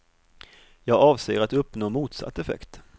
Jag avser att uppnå motsatt effekt.